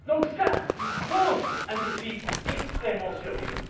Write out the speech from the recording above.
Cela pose un défi extrêmement sérieux.